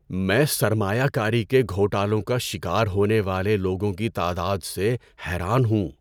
میں سرمایہ کاری کے گھوٹالوں کا شکار ہونے والے لوگوں کی تعداد سے حیران ہوں۔